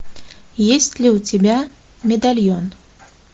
есть ли у тебя медальон